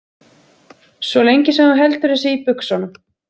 Svo lengi sem þú heldur þessu í buxunum